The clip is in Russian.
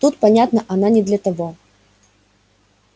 тут понятно она не для того